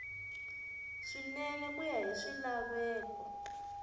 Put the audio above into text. swinene ku ya hi swilaveko